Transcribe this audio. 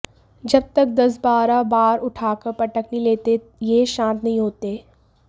जब तक दस बारह बार उठाकर पटक नहीं लेते ये शांत नहीं होते